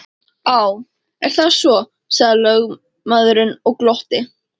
Á, er það svo, sagði lögmaðurinn og glotti.